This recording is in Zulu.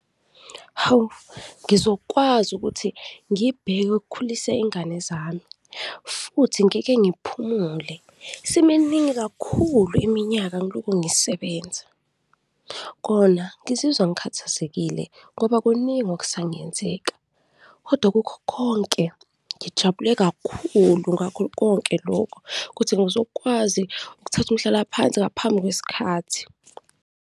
Hawu! Ngizokwazi ukuthi ngibheke ukukhulisa ingane zami futhi ngike ngiphumule, isiminingi kakhulu iminyaka ngiloku ngisebenza. Kona ngizizwa ngikhathazekile ngoba kuningi okusangenzeka kodwa kukho konke ngijabule kakhulu ngakho konke lokhu, kuthi ngizokwazi ukuthatha umhlalaphansi ngaphambi kwesikhathi.